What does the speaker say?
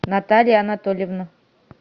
наталья анатольевна